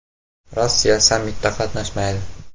Rossiya sammitda qatnashmaydi.